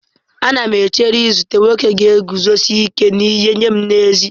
Ana m echere izute nwoke ga-eguzosi ike n'ihe nye m n'ezie.